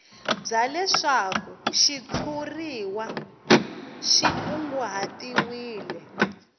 bya leswaku xitshuriwa xi kunguhatiwile